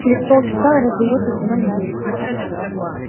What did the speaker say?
через полчаса раздаётся звонок в дверь